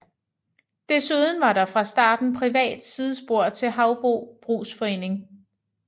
Desuden var der fra starten privat sidespor til Haubro Brugsforening